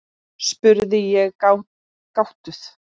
spurði ég gáttuð.